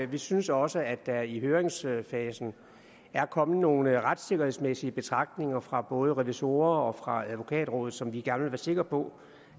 vi synes også at der i høringsfasen er kommet nogle retssikkerhedsmæssige betragtninger fra både revisorer og fra advokatrådet som vi gerne vil være sikre på